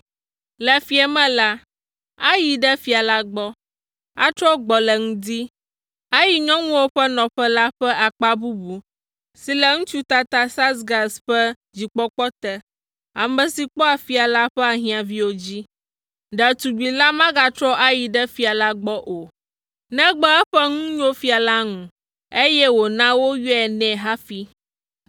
Le fiẽ me la, ayi ɖe fia la gbɔ, atrɔ gbɔ le ŋdi, ayi nyɔnuwo ƒe nɔƒe la ƒe akpa bubu si le ŋutsu tata Saasgaz ƒe dzikpɔkpɔ te, ame si kpɔa fia la ƒe ahiãviwo dzi. Ɖetugbi la magatrɔ ayi ɖe fia la gbɔ o, negbe eƒe nu nyo fia la ŋu, eye wòna woyɔe nɛ hafi.